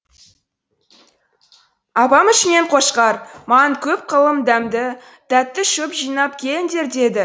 апан ішінен қошқар маған көп қылып дәмді тәтті шөп жинап келіңдер деді